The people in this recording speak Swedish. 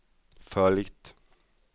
följt